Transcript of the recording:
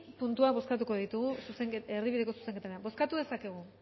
puntuak bozkatuko ditugu erdibideko zuzenketan bozkatu ditzakegu